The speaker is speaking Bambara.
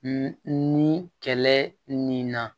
ni kɛlɛ ni na